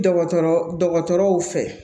Dɔgɔtɔrɔ dɔgɔtɔrɔw fɛ